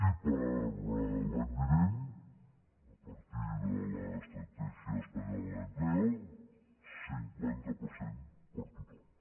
i per a l’any vinent a partir de l’estrategia española de empleo el cinquanta per cent per a tothom